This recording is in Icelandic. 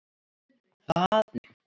Þar eru nokkrir bæir.